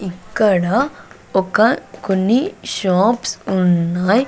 ఇక్కడ ఒక కొన్ని షాప్స్ ఉన్నాయ్.